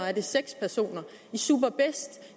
er det seks personer i superbest